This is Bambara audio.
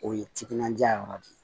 O ye timinandiya yɔrɔ de ye